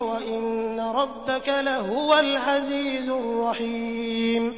وَإِنَّ رَبَّكَ لَهُوَ الْعَزِيزُ الرَّحِيمُ